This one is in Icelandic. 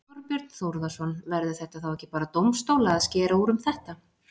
Þorbjörn Þórðarson: Verður það þá ekki bara dómstóla að skera úr um þetta?